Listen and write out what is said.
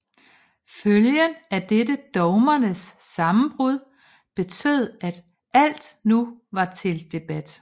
Følgen af dette dogmernes sammenbrud betød at alt nu var til debat